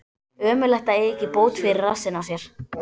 Ömurlegt að eiga ekki bót fyrir rassinn á sér.